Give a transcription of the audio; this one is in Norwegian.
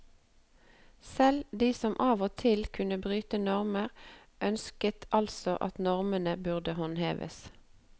Selv de som av og til kunne bryte normer, ønsket altså at normen burde håndheves.